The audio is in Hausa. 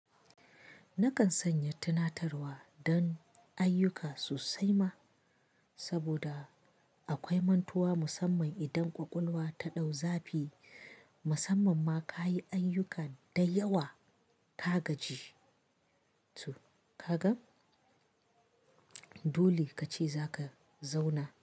Nakan sanya tunatarwa don ayyuka sosai ma, saboda akwai mantuwa musamman idan ƙwaƙwalwa ta ɗau zafi, musamman ma ka yi ayyuka da yawa ka gaji to, ka gan? Dole ka ce za ka zauna.